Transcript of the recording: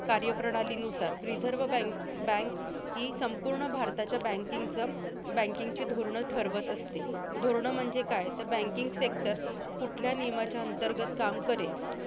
कार्यप्रणालीनुसार reserve bank bank हि संपूर्ण भारताच्या banking चं banking ची धोरणं ठरवत असते. धोरणं म्हणजे काय? तर banking sector कुठल्या नियमाच्या अंतर्गत काम करेल.